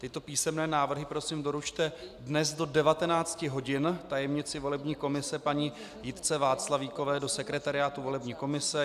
Tyto písemné návrhy prosím doručte dnes do 19 hodin tajemnici volební komise paní Jitce Václavíkové do sekretariátu volební komise.